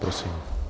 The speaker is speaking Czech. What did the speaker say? Prosím.